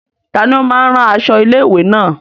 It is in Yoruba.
Tani ó máa ń rán aṣọ ilé-ìwé náà?